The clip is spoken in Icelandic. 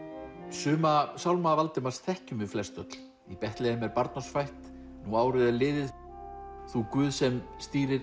suma sálma Valdimars þekkjum við flest öll í Betlehem er barn oss fætt nú árið er liðið þú Guð sem stýrir